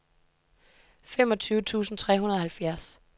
femogfyrre tusind tre hundrede og halvfjerds